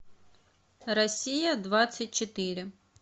россия двадцать четыре